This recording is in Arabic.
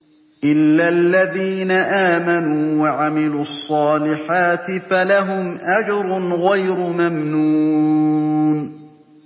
إِلَّا الَّذِينَ آمَنُوا وَعَمِلُوا الصَّالِحَاتِ فَلَهُمْ أَجْرٌ غَيْرُ مَمْنُونٍ